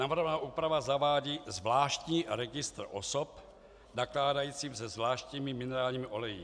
Navrhovaná úprava zavádí zvláštní registr osob nakládajících se zvláštními minerálními oleji.